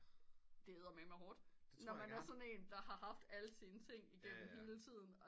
Det er eddermame hårdt når man er sådan en der har haft alle sine ting igemmen hele tiden